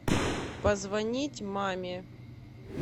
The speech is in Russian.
позвонить маме